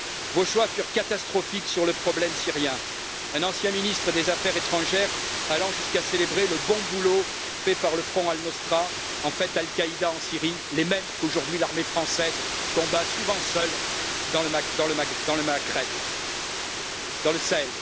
Vos choix furent catastrophiques sur le problème syrien, un ancien ministre des affaires étrangères allant jusqu'à célébrer le bon boulot fait par le Front Al Nosra, en fait Al Qaida en Syrie, les mêmes qu'aujourd'hui l'armée française combat souvent seule dans le Sahel.